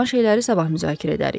Qalan şeyləri sabah müzakirə edərik.